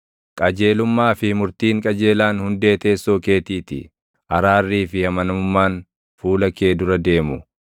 Qajeelummaa fi murtiin qajeelaan hundee teessoo keetii ti; araarrii fi amanamummaan fuula kee dura deemu.